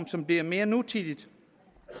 som bliver mere nutidig